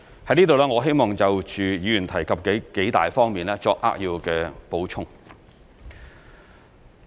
在此，我希望就議員提及的數方面作扼要補充。